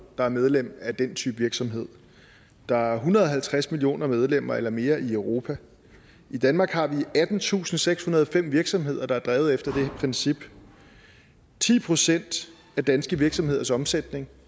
der er medlem af den type virksomhed der er en hundrede og halvtreds millioner medlemmer eller mere i europa i danmark har vi attentusinde og sekshundrede og fem virksomheder der er drevet efter det princip ti procent af danske virksomheders omsætning